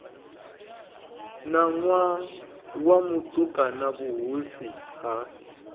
ṋwana wa mutukana vhuhosi ha